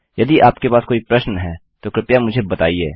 यदि आपके पास कोई प्रश्न है तो कृपया मुझे बताइए